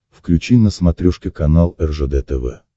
включи на смотрешке канал ржд тв